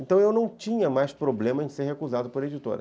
Então eu não tinha mais problema em ser recusado por editora.